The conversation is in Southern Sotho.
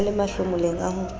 a le mahlomoleng a ho